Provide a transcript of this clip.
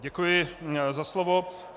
Děkuji za slovo.